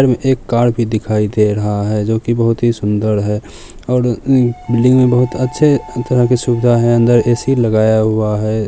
एक घर भी दिखई दे रहा हैं जो की बोहोत ही सुन्दर दिखाई दे रहा हैं और बिल्डिंग में बोहोत अच्छे तरह की सुविधा हैं ए_सी भी लगाया हुआ हैं।